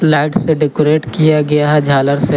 Light से decorate किया गया है झालर से।